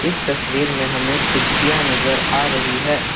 इस तस्वीर में हमें कुर्सियां नजर आ रही है।